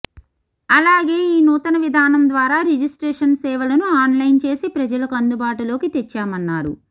అలాగే ఈ నూతన విధానం ద్వారా రిజిస్ట్రేషన్ సేవలను ఆన్లైన్ చేసి ప్రజలకు అందుబాటులోకి తెచ్చామన్నారు